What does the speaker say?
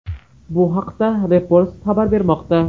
Bu haqda Repost xabar bermoqda .